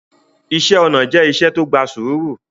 Ìṣẹ̀ onà jẹ̀ ìṣẹ̀ tó gbà súùrù